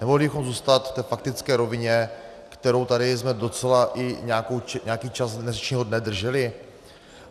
Nemohli bychom zůstat v té faktické rovině, kterou jsme tady docela i nějaký čas dnešního dne drželi?